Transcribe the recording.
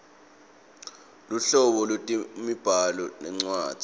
luhlobo lwetemibhalo nencwadzi